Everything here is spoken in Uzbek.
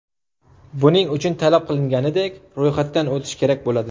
Buning uchun, talab qilinganidek ro‘yxatdan o‘tish kerak bo‘ladi.